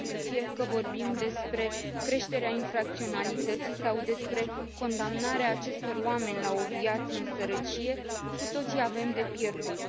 Fie că vorbim despre creșterea infracționalității sau despre condamnarea acestor oameni la o viață în sărăcie, cu toții avem de pierdut.